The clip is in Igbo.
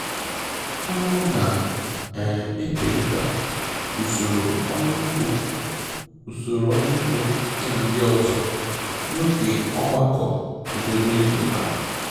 Ọ na-ekerịta usoro ọrụ ugbo usoro ọrụ ugbo ya na ndị ọzọ n'oge ogbakọ obodo izu ụka